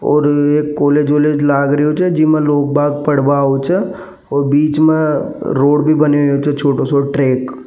और यह कोई कॉलेज लग रहा छे जिसमें लोग भाग पढ़वा आवे छो और बीच में रोड भी बने हुए छे छोटो सो ट्रैक --